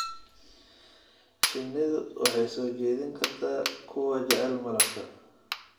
Shinnidu waxay soo jiidan kartaa kuwa jecel malabka.